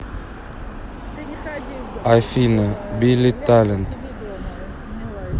афина билли талент